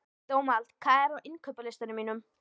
Dómald, hvað er á innkaupalistanum mínum?